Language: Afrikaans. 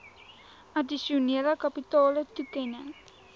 addisionele kapitale toekenning